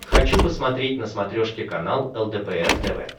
хочу посмотреть на смотрешке канал лдпр тв